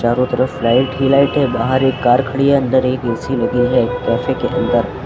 चारों तरफ लाइट ही लाइट है बाहर एक कार खड़ी है अंदर एक ऐ_सी लगी है कैफे के अंदर।